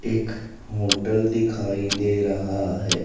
एक होटल दिखाई दे रहा है।